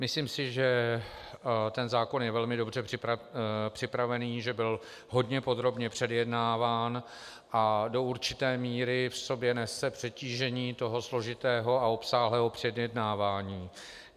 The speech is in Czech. Myslím si, že tento zákon je velmi dobře připraven, že byl hodně podrobně předjednáván a do určité míry v sobě nese přetížení toho složitého a obsáhlého předjednávání.